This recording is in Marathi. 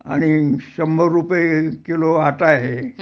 आणि शंभर रुपये किलो आटा आहे